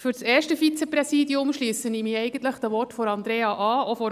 Für das erste Vizepräsidium schliesse ich mich eigentlich den Worten von Andrea de Meuron an.